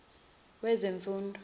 wezemfundo